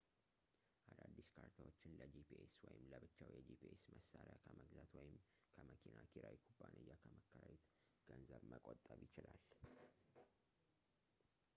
አዳዲስ ካርታዎችን ለጂፒኤስ ወይም ለብቻው የጂፒኤስ መሣሪያ ከመግዛት ወይም ከመኪና ኪራይ ኩባንያ ከመከራየት ገንዘብ መቆጠብ ይችላል